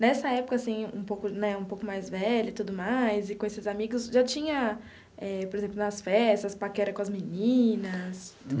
Nessa época, assim, um pouco né um pouco mais velho e tudo mais, e com esses amigos, já tinha eh, por exemplo, nas festas, paquera com as meninas?